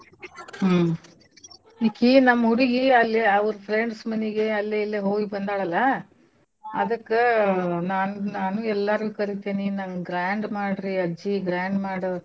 ಹ್ಮ್ ಈಕಿ ನಮ್ ಹುಡ್ಗಿ ಅಲ್ಲೆ ಅವ್ರ್ friends ಮನಿಗೆ ಅಲ್ಲೇ ಇಲ್ಲೆೇ ಹೋಗ್ಬಂದಾಳಲ್ಲ ಅದಕ್ಕ ನಾನ್~ ನಾನೂ ಎಲ್ಲಾರ್ನೂ ಕರೀತೇನಿ ನನ್ಗ grand ಮಾಡ್ರಿ ಅಜ್ಜಿ grand ಮಾಡು.